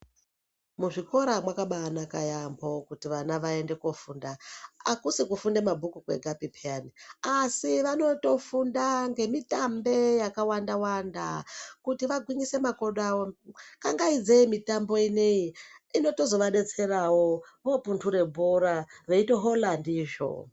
Muzvikora mwakabaa naka yamho kuti vana vaende kofunda akusi piii kufunda mabhuku ega peyani asi vanotofunda nemitambe yakawanda wanda kuti vagwinyise makodo awo kangaise mitambo ineyi inozoto vabetserawo vopendudze bhora veitohola ndizvo.